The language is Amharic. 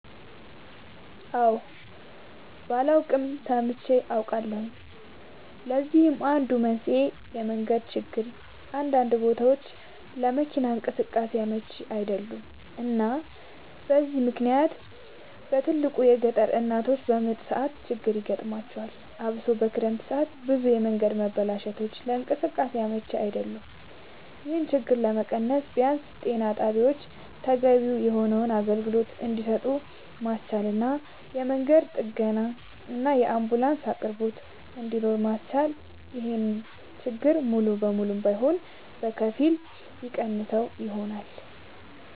አወ ባላይም ሰምቼ አውቃለሁኝ ለዚህም አንዱ መንስኤ የመንገድ ችግር አንዳንድ ቦታወች ለመኪና እንቅስቃሴ አመች አይደሉም እና በዚህ ምክንያት በትልቁ የገጠር እናቶች በምጥ ሰዓት ችግር ይገጥማቸዋል አብሶ በክረምት ሰዓት ብዙ የመንገድ መበላሸቶች ለእንቅስቃሴ አመች አይደሉም ይሄን ችግር ለመቀነስ ቢያንስ ጤና ጣቢያወችን ተገቢውን የሆነ አገልግሎት እንድሰጡ ማስቻልና የመንገድ ጥገናና የአንቡላንስ አቅርቦት እንድኖር ማስቻል ይሄን ችግር ሙሉ ለሙሉ ባይሆንም በከፊል የሚቀንሰው ይሆናል